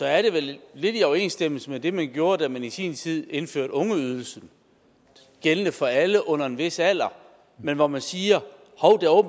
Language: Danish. er det vel lidt i overensstemmelse med det man gjorde da man i sin tid indførte ungeydelsen gældende for alle under en vis alder men hvor man siger